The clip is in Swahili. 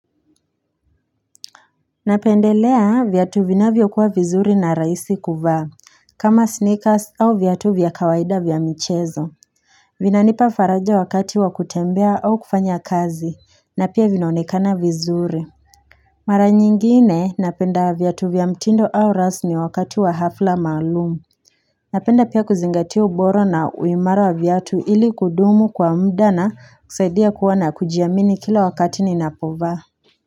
Napendelea viatu vinavyokuwa vizuri na rahisi kuvaa kama sneakers au vyatu vya kawaida vya michezo Vinanipa faraja wakati wa kutembea au kufanya kazi na pia vinaonekana vizuri Mara nyingine napenda viatu vya mtindo au rasmi wakati wa hafla maalumu Napenda pia kuzingatia ubora na uimara wa viatu ili kudumu kwa muda na kusaidia kuwa na kujiamini kila wakati ninapovaa.